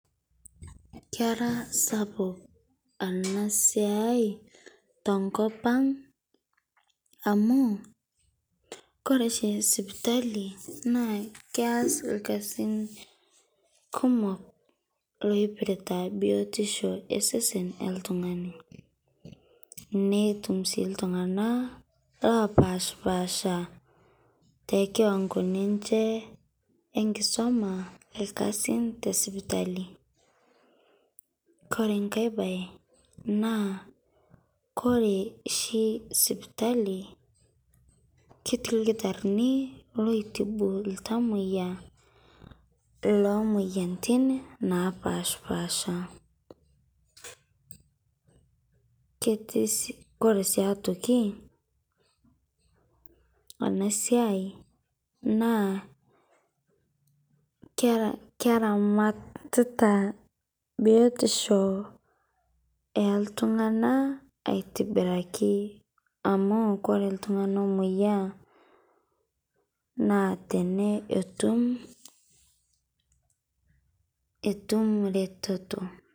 Kera sapuk ena siai tenkop ang' amu, wore oshi sipitali keas irkasin kumok oipirta bietisho osesen loltungani. Netum sii iltunganak opashpaasha tekiwango ninche enkisuma irkasin tesipitali. Kore enkae baye, naa kore oshi sipitali, ketii ildakitarini oitibu iltamoyia oomoyiaritin naapaashpaasha. Kore sii aitoki ena siai naa keramatita bietisho ooltunganak aitobiraki. Amu koree iltunganak oomoyia naa etum eretoto.